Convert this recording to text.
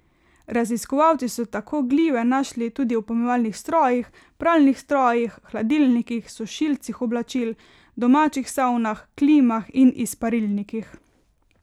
Raziskovalci so tako glive našli tudi v pomivalnih strojih, pralnih strojih, hladilnikih, sušilcih oblačil, domačih savnah, klimah in izparilnikih.